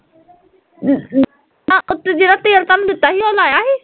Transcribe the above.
ਜਿਹੜਾ ਤੇਲ ਤੁਹਾਨੂੰ ਦਿੱਤਾ ਸੀ ਉਹ ਲਾਇਆ ਸੀ